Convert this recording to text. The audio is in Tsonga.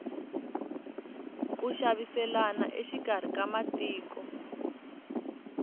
ku xaviselana exikarhi ka matiko